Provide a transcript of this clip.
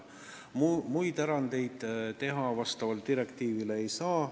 Muid erandeid selle direktiivi kohaselt teha ei saa.